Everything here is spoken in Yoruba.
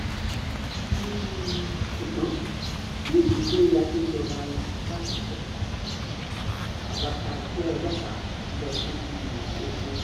um ṣùgbọ́n ní ìdílé adéjọba lápapọ̀ um àwa tá a jẹ́ ọlọ́pàá ń lọ sí bíi ogun